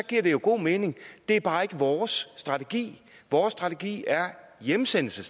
giver det jo god mening det er bare ikke vores strategi vores strategi er hjemsendelse